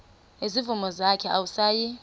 nezimvu zakhe awusayi